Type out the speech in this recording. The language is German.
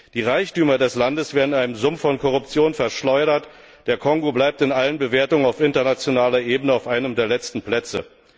Die Reichtümer des Landes werden in einem Sumpf von Korruption verschleudert, der Kongo bleibt in allen Bewertungen auf internationaler Ebene auf einem der letzten Plätze.